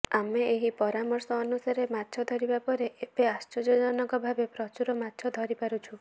ଆମେ ଏହି ପରାମର୍ଶ ଅନୁସାରେ ମାଛ ଧରିବା ପରେ ଏବେ ଆଶ୍ଚର୍ଯ୍ୟଜନକ ଭାବେ ପ୍ରଚୁର ମାଛ ଧରିପାରୁଛୁ